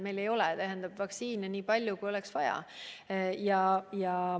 Meil ei ole vaktsiine nii palju, kui oleks vaja.